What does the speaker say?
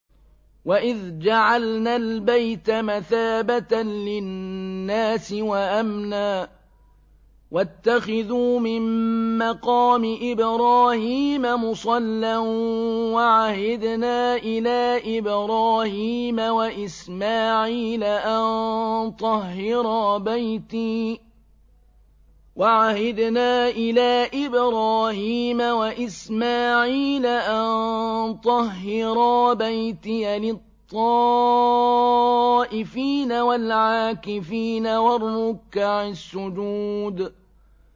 وَإِذْ جَعَلْنَا الْبَيْتَ مَثَابَةً لِّلنَّاسِ وَأَمْنًا وَاتَّخِذُوا مِن مَّقَامِ إِبْرَاهِيمَ مُصَلًّى ۖ وَعَهِدْنَا إِلَىٰ إِبْرَاهِيمَ وَإِسْمَاعِيلَ أَن طَهِّرَا بَيْتِيَ لِلطَّائِفِينَ وَالْعَاكِفِينَ وَالرُّكَّعِ السُّجُودِ